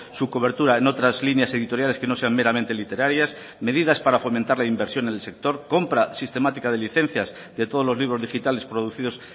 su cobertura en otras líneas editoriales que no sean meramente literarias medidas para fomentar la inversión en el sector compra sistemática de licencias de todos los libros digitales producidos